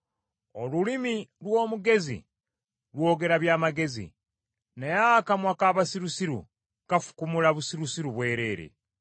Olulimi lw’omugezi lwogera by’amagezi, naye akamwa k’abasirusiru kafukumula busirusiru bwereere.